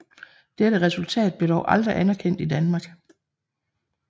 Dette resultat blev dog aldrig anerkendt i Danmark